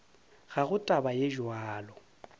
ga go taba ye bjalo